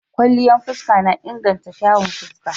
Kwalliyan fuska na inganta kyawun fuska.